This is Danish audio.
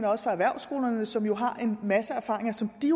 også fra erhvervsskolerne som jo har en masse erfaringer som de